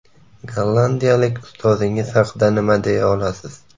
Gollandiyalik ustozingiz haqida nima deya olasiz?